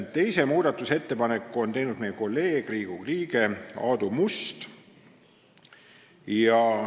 Teise muudatusettepaneku on teinud meie kolleeg, Riigikogu liige Aadu Must.